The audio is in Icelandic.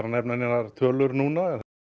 að nefna neinar tölur núna